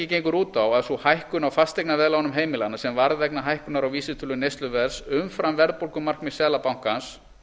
leiðréttingin gengur út á að sú hækkun á fasteignaveðlánum heimilanna sem varð vegna hækkunar á vísitölu neysluverðs umfram verðbólgumarkmið seðlabankans